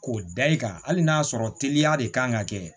K'o da i kan hali n'a sɔrɔ teliya de kan ka kɛ